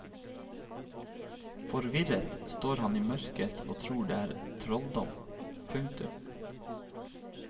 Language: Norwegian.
Forvirret står han i mørket og tror det er trolldom. punktum